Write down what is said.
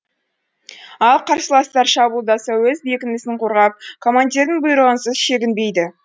ал қарсыластар шабуылдаса өз бекінісін қорғап командирдің бүйрығынсыз шегінбейді